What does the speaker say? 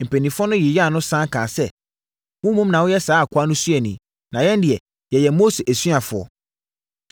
Mpanimfoɔ no yeyaa no sane kaa sɛ, “Wo mmom na woyɛ saa akoa no suani; na yɛn deɛ, yɛyɛ Mose asuafoɔ.